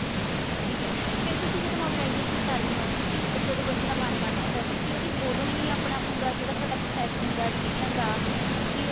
ਠੀਕ ਹੈ ਫ਼ੇਰ ਤੁਸੀਂ ਜਦੋ mobilization ਕਰਦੇ ਹੋ ਤੁਸੀਂ ਜਦੋਂ ਬੱਚੇ ਦਾ ਮਨ ਬਣ ਜਾਂਦਾ ਤੁਸੀਂ ਓਹਦੀ ਓਦੋਂ ਹੀ ਆਪਣਾ ਪੂਰਾ ਜਿਹੜਾ ਥੋਡਾ process ਹੁੰਦਾ admission ਦਾ ਤੁਸੀਂ ਉਹ